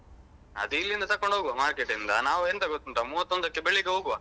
ಅದು ಇಲ್ಲಿಂದ ತಗೊಂಡ್ ಹೋಗುವ market ಇಂದ ನಾವು ಎಂತ ಗೊತ್ತುಂಟ ಮೂವತ್ತೊಂದಕ್ಕೆ ಬೆಳಿಗ್ಗೆ ಹೋಗುವ.